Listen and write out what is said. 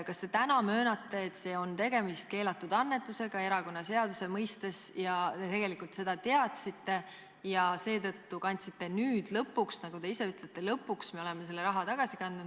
Kas te täna möönate, et tegemist on keelatud annetusega erakonnaseaduse mõistes, te tegelikult seda teadsite ja seetõttu kandsite nüüd lõpuks – nagu te ise ütlete, lõpuks me oleme kandnud – selle raha tagasi?